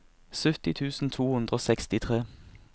sytti tusen to hundre og sekstitre